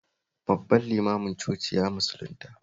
Babban limanin cocin ya musulunta